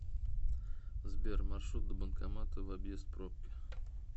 сбер маршрут до банкомата в объезд пробки